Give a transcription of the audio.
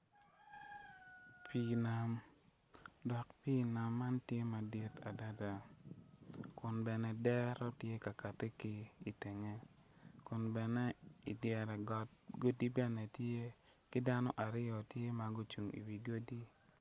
Pii nam pii nam man tye madit adada kun adera tye ka kati ki i tenge kun bene i tenge godi bene tye